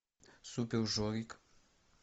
супер жорик